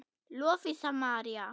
Lovísa María.